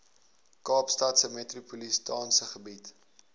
kaapstadse metropolitaanse gebied